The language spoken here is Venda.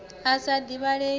i sa divhalei ya u